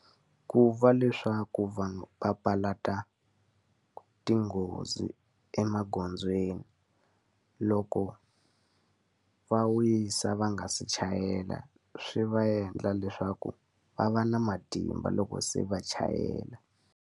Ku va leswaku vanhu papalata tinghozi emagondzweni, loko va wisa va nga se chayela swi va endla leswaku va va na matimba loko se va chayela.